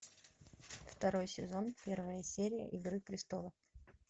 второй сезон первая серия игры престолов